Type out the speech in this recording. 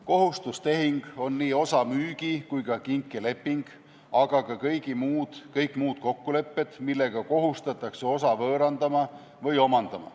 Kohustustehing on nii osa müügi- kui ka kinkeleping, aga ka kõik muud kokkulepped, millega kohustatakse osa võõrandama või omandama.